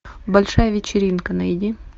большая вечеринка найди